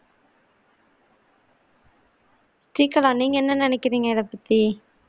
ஸ்ரீகலா நீங்க என்ன நினைக்குறீங்க இத பத்தி